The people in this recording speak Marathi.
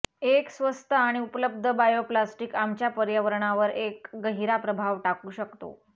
एक स्वस्त आणि उपलब्ध बायोप्लास्टिक आमच्या पर्यावरणावर एक गहिरा प्रभाव टाकू शकतो